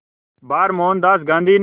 बार मोहनदास गांधी ने